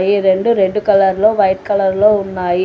ఈ రెండు రెడ్ కలర్లో వైట్ కలర్లో ఉన్నాయి.